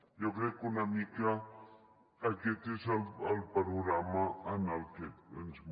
jo crec que una mica aquest és el panorama en el qual ens movem